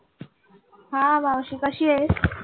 हा मावशी कशीयेस?